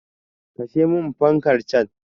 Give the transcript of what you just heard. Kashe min fankar can!